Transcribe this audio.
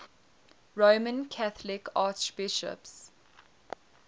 roman catholic archbishops